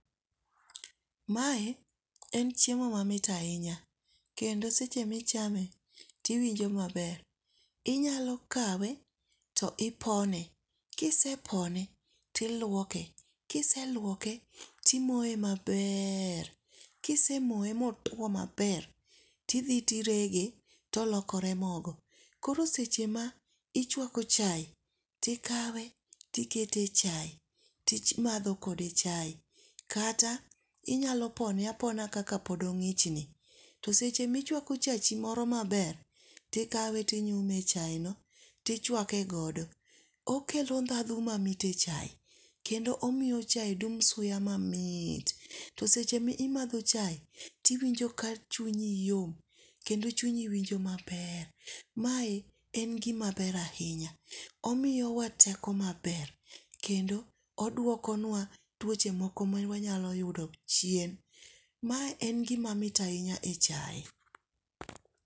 Mae en chiemo mamit ahinya. Kendo seche ma ichame to iwinjo maber. Inyalo kawe to ipone, Kisepone tilwoke. Kiselwoke timoye maber. Kisemoye ma otwo maber, to idhi tirege to lokore mogo. Koro seche ma ichwako chae, to ikawe, tikete e chae timadho kode chae. Kata inyalo pone apona kaka pod ongích ni to seche ma ichwako chachi moro maber, to ikawe, to inyume e chae no tichwake godo. Okelo ndhadhu mamit e chae, kendo omiyo chae dum suya mamit. To seche ma imadho chae, to iwinjo ka chunyi yom, kendo chunyi winjo maber. Mae en gima ber ahinya. Omiyowa teko maber, kendo odwoko nwa twoche moko ma wanyalo yudo chien. Mae en gima mit ahinya e chae.